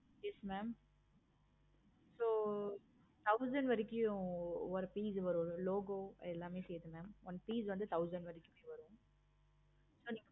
yes mam so thousand வரைக்கும் ஒரு piece வரும். logo எல்லாமே சேர்ந்து one piece வந்து thousand வரைக்கு வரும்.